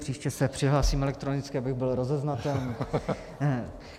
Příště se přihlásím elektronicky, abych byl rozeznatelný.